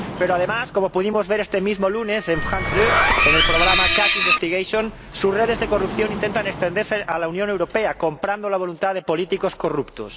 Pero, además, como pudimos ver este mismo lunes en France 2 en el programa Cash Investigation sus redes de corrupción intentan extenderse a la Unión Europea comprando la voluntad de políticos corruptos.